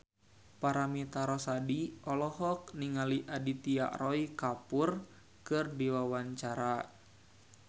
Paramitha Rusady olohok ningali Aditya Roy Kapoor keur diwawancara